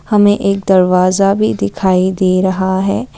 हमें एक दरवाजा भी दिखाई दे रहा है।